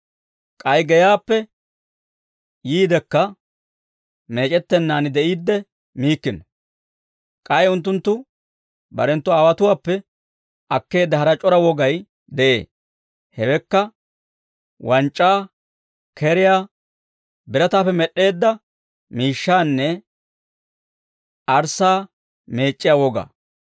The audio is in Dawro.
K'ay geyaappe yiidekka meec'ettennaan de'iidde miikkino. K'ay unttunttu barenttu aawotuwaappe akkeedda hara c'ora wogay de'ee; hewekka wanc'c'aa, keriyaa, birataappe med'd'eedda miishshaanne arssaa meec'c'iyaa wogaa.